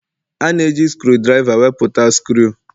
A na-eji skrudriva wepụta skru